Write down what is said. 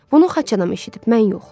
Bunu xaçanam eşidib, mən yox.